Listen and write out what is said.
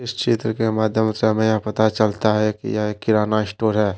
इस चित्र के माध्यम से हमें यह पता चलता है कि यह एक किराना स्टोर है।